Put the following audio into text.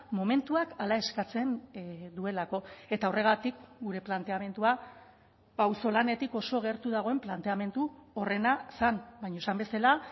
momentuak hala eskatzen duelako eta horregatik gure planteamendua pauzolanetik oso gertu dagoen planteamendu horrena zen baina esan bezala